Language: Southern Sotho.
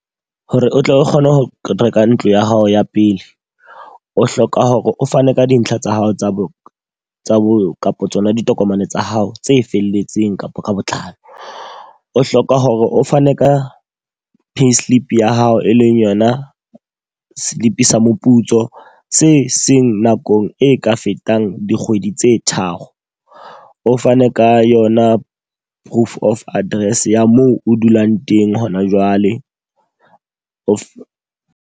Hore o tle o kgone ho reka ntlo ya hao ya pele. O hloka hore o fane ka dintlha tsa hao tsa bo tsa bo kapa tsona ditokomane tsa hao tse felletseng kapa ka botlalo. O hloka hore o fane ka payslip ya hao e leng yona slip sa moputso se seng nakong e ka fetang dikgwedi tse tharo. O fane ka yona proof of address ya moo o dulang teng hona jwale. O .